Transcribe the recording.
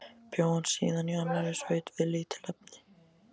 Bjó hann síðan í annarri sveit við lítil efni.